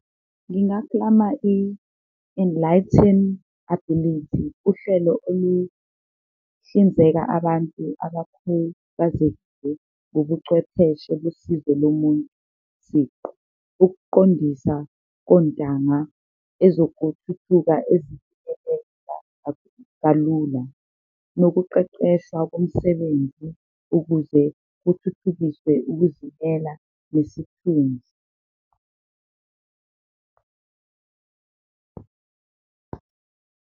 Ngingaklama i-enlighten ability, uhlelo oluhlinzeka abantu abakhubazekile ngobucwepheshe ekusizeni umuntu siqu, ukuqondisa kontanga, kalula nokuqeqesha komsebenzi ukuze kuthuthukiswe ukuzimela nesikhundla.